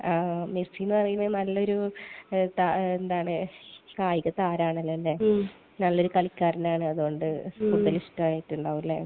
മെസ്സിയെന്ന് പറയുന്നത് നല്ലൊരു കായിക താരമാണല്ലേ. നല്ലൊരു കളിക്കാരനാണ്. അത്കൊണ്ട് കൂടുതൽ ഇഷ്ടമായിട്ടുണ്ടാവും അല്ലെ.